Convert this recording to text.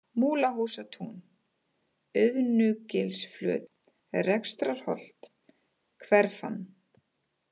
Múlahústún, Auðnugilsflöt, Rekstrarholt, Hverfan